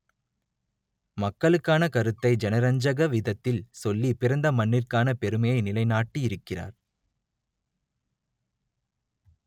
மக்களுக்கான கருத்தை ஜனரஞ்சக விதத்தில் சொல்லி பிறந்த மண்ணிற்கான பெருமையை நிலை நாட்டியிருக்கிறார்